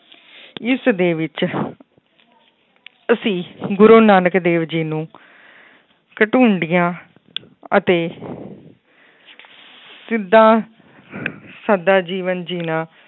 ਇਸ ਦੇ ਵਿੱਚ ਅਸੀਂ ਗੁਰੂ ਨਾਨਕ ਦੇਵ ਜੀ ਨੂੰ ਅਤੇ ਜਿੱਦਾਂ ਸਾਦਾ ਜੀਵਨ ਜਿਉਣਾ।